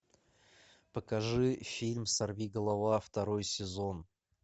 покажи фильм сорвиголова второй сезон